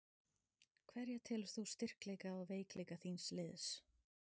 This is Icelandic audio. Hverja telur þú styrkleika og veikleika þíns liðs?